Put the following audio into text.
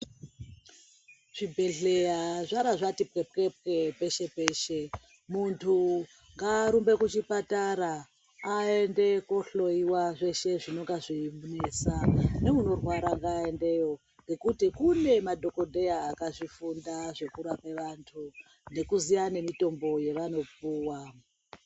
Zvibhehleya zvaara zvati pwepwepwe peshe-peshe. Muntu ngaarumbe kuchipatara aende koohloiwa zveshe zvinonga zveimunesa, neunorwara ngaaendeyo ngekuti kune madhogodheya akazvifunda zvekurape vantu, nekuziya nemitombo yavanopuwa.